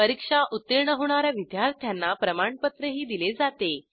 परीक्षा उत्तीर्ण होणा या विद्यार्थ्यांना प्रमाणपत्रही दिले जाते